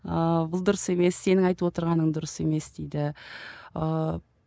ыыы бұл дұрыс емес сенің айтып отырғаның дұрыс емес дейді ыыы